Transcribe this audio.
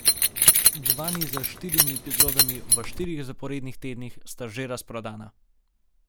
Dva niza s štirimi epizodami v štirih zaporednih tednih sta že razprodana.